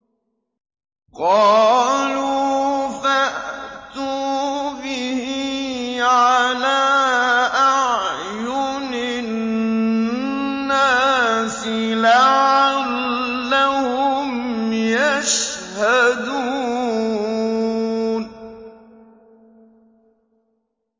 قَالُوا فَأْتُوا بِهِ عَلَىٰ أَعْيُنِ النَّاسِ لَعَلَّهُمْ يَشْهَدُونَ